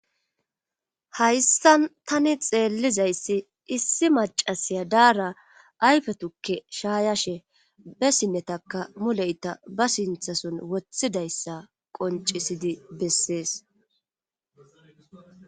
hayssan tani xeellizayssi issi macasiya daara ayfetukke shaayashe bessinnetaka muleyta ba sinthason woththidayssa qoncisidi bessees